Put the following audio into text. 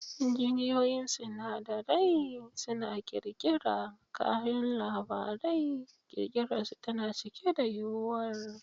Injiniyoyin sinadarai suna ƙirƙira kayan labari, ƙirarsu tana cike da yuwuwar.